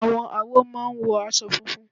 Àwọn awo máa ń wọ aṣọ funfun.